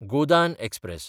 Godan express